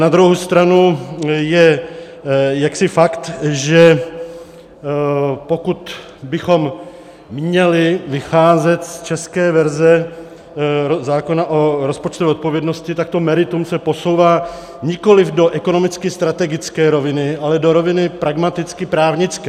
Na druhou stranu je jaksi fakt, že pokud bychom měli vycházet z české verze zákona o rozpočtové odpovědnosti, tak to meritum se posouvá nikoliv do ekonomicky strategické roviny, ale do roviny pragmaticky právnické.